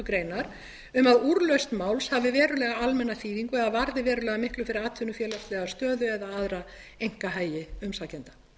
grein um að úrlausn máls hafi verulega almenna þýðingu eða varði verulega miklu fyrir atvinnufélagslega stöðu eða aðra einkahagi umsækjenda